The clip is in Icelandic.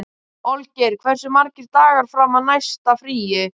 Olgeir, hversu margir dagar fram að næsta fríi?